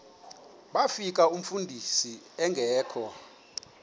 bafika umfundisi engekho